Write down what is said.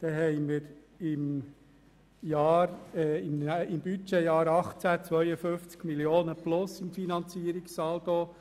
Aber im Jahr 2019 werden es nur noch drei Millionen Franken sein.